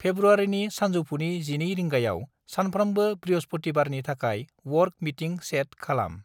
फ्रेब्रुवारिनि सानजौफुनि 12 रिंगायाव सामफ्रामबो बृहसपुथिबारनि थाखाय वर्क मिटिं सेट खालाम।